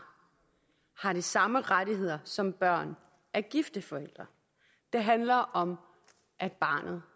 har de samme rettigheder som børn af gifte forældre det handler om at barnet